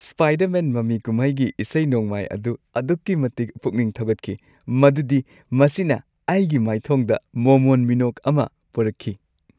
Spider-Man ꯃꯃꯤ ꯀꯨꯝꯍꯩꯒꯤ ꯏꯁꯩ-ꯅꯣꯡꯃꯥꯏ ꯑꯗꯨ ꯑꯗꯨꯛꯀꯤ ꯃꯇꯤꯛ ꯄꯨꯛꯅꯤꯡ ꯊꯧꯒꯠꯈꯤ ꯃꯗꯨꯗꯤ ꯃꯁꯤꯅ ꯑꯩꯒꯤ ꯃꯥꯏꯊꯣꯡꯗ ꯃꯣꯃꯣꯟ ꯃꯤꯅꯣꯛ ꯑꯃ ꯄꯨꯔꯛꯈꯤ ꯫